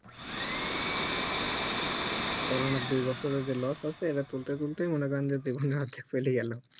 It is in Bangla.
corona এর দুই বছরের যে loss আছে এইটা তুলে তুলতেই মনে করেন যে জীবন আর কি পেরিয়ে গাল